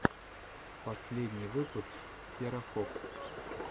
последний выпуск терафокс